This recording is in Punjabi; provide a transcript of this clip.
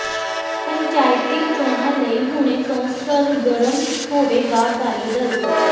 ਪੰਚਾਇਤੀ ਚੋਣਾਂ ਲਈ ਹੁਣੇ ਤੋਂ ਸਰਗਰਮ ਹੋਵੇਗਾ ਅਕਾਲੀ ਦਲ